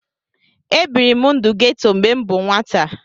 Ebiri m ndụ geto mgbe m bụ nwata